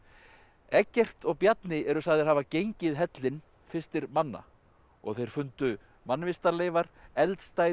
Eggert og Bjarni eru sagðir hafa gengið hellinn fyrstir manna og þeir fundu mannvistarleifar eldstæði